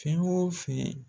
Fɛn o fɛn